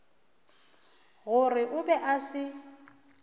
gore o be a se